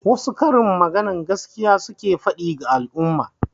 Wasu karin magana gaskiya suke faɗi ga al'umma.